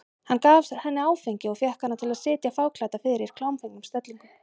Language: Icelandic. Hann gaf henni áfengi og fékk hana til að sitja fáklædda fyrir í klámfengnum stellingum.